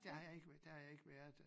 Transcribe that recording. Der har jeg ik der har jeg ikke været dér